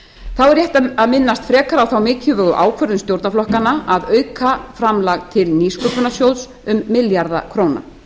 þá er rétt að minnast frekar á þá mikilvægu ákvörðun stjórnarflokkanna að auka framlag til nýsköpunarsjóðs um milljarða króna